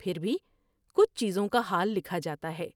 پھر بھی کچھ چیزوں کا حال لکھا جاتا ہے ۔